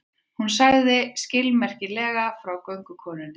Hún sagði skilmerkilega frá göngukonunni.